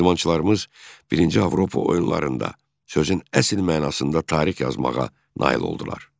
İdmançılarımız birinci Avropa oyunlarında sözün əsl mənasında tarix yazmağa nail oldular.